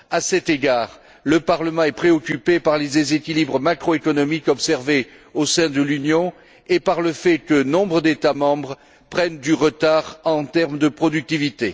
À cet égard, le Parlement est préoccupé par les déséquilibres macroéconomiques observés au sein de l'Union et par le fait que nombre d'États membres prennent du retard en termes de productivité.